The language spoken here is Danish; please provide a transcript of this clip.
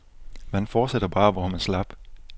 Man fortsætter bare, hvor man slap.